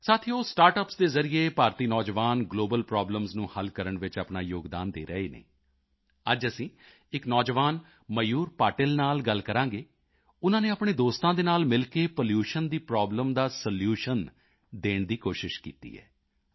ਸਾਥੀਓ ਸਟਾਰਟਅਪਸ ਦੇ ਜ਼ਰੀਏ ਭਾਰਤੀ ਨੌਜਵਾਨ ਗਲੋਬਲ ਪ੍ਰੋਬਲਮਜ਼ ਨੂੰ ਹੱਲ ਕਰਨ ਵਿੱਚ ਵੀ ਆਪਣਾ ਯੋਗਦਾਨ ਦੇ ਰਹੇ ਹਨ ਅੱਜ ਅਸੀਂ ਇੱਕ ਨੌਜਵਾਨ ਮਯੂਰ ਪਾਟਿਲ ਨਾਲ ਗੱਲ ਕਰਾਂਗੇ ਉਨ੍ਹਾਂ ਨੇ ਆਪਣੇ ਦੋਸਤਾਂ ਦੇ ਨਾਲ ਮਿਲ ਕੇ ਪੋਲੂਸ਼ਨ ਦੀ ਪ੍ਰੋਬਲਮ ਦਾ ਸੋਲੂਸ਼ਨ ਦੇਣ ਦੀ ਕੋਸ਼ਿਸ਼ ਕੀਤੀ ਹੈ